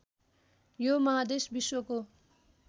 यो महादेश विश्वको